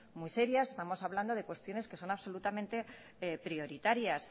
muy serias estamos hablando de cuestiones que son absolutamente prioritarias